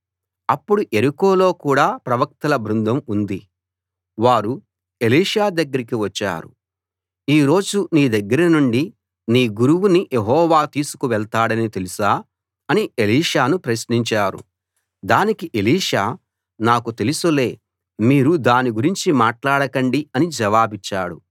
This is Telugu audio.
అప్పుడు యెరికోలో కూడా ప్రవక్తల బృందం ఉంది వారు ఎలీషా దగ్గరికి వచ్చారు ఈ రోజు నీ దగ్గరనుండి నీ గురువుని యెహోవా తీసుకు వెళ్తాడని తెలుసా అని ఎలీషాను ప్రశ్నించారు దానికి ఎలీషా నాకు తెలుసులే మీరు దాని గురించి మాట్లాడకండి అని జవాబిచ్చాడు